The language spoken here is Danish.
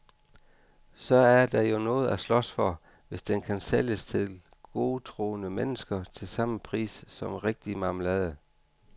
Så er der jo noget at slås for, hvis den kan sælges til godtroende mennesker til samme pris som rigtig marmelade.